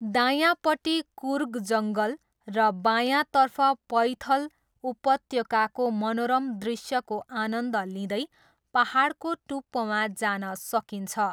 दायाँपट्टि कुर्ग जङ्गल र बायाँतर्फ पैथल उपत्यकाको मनोरम दृश्यको आनन्द लिँदै पाहाडको टुप्पोमा जान सकिन्छ।